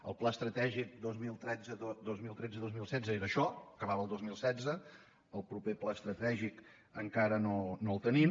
el pla estratègic dos mil tretze dos mil setze era això acabava el dos mil setze el proper pla estratègic encara no el tenim